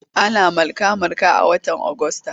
Ana marka-marka a watan Agusta.